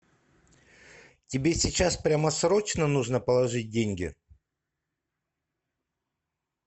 тебе сейчас прямо срочно нужно положить деньги